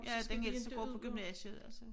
Ja den ældste går på gymnasiet altså